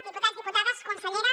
diputats diputades consellera